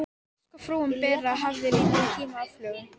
Verst hvað frúin Bera hafði lítinn tíma aflögu.